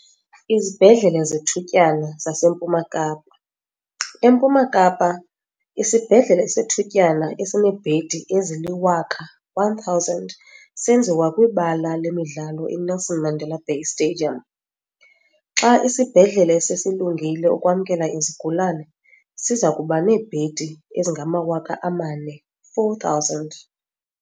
Izibhedlele zethutyana zaseMpuma Kapa. EMpuma Kapa, isibhedlele sethutyana esineebhedi ezili-1 000 senziwa kwibala lemidlalo i-Nelson Mandela Bay Stadium. Xa isibhedlele sesilungile ukwamkela izigulane, siza kuba neebhedi ezingama-4 000.